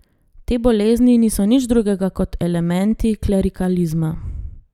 Te bolezni niso nič drugega kot elementi klerikalizma.